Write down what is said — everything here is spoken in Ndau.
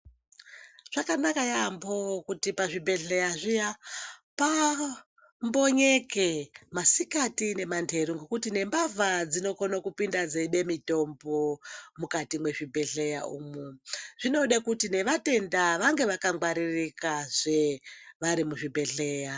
Zvakanaka yaambo kuti pazvibhedhleya zviya paambonyeke masikati nemanheru ngekuti nembavha dzinokonwe kupinda dzeiba mitombo mukati mwezvibhedhleya umwu .Zvinoda kuti nevatenda vange vakangwaririkazve vari muzvibhedhleya .